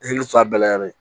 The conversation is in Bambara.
Hakili sɔn a bɛɛ la yɛrɛ